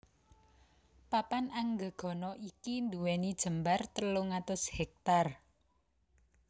Papan Anggegana iki nduwèni jembar telung atus hèktar